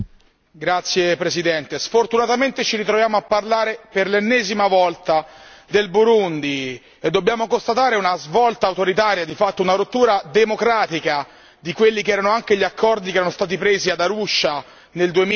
Signor Presidente, onorevoli colleghi, sfortunatamente ci ritroviamo a parlare per l'ennesima volta del Burundi e dobbiamo constatare una svolta autoritaria, di fatto una rottura democratica di quelli che erano anche gli accordi che erano stati presi ad Arusha nel